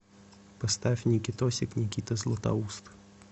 поставь никитосик никита златоуст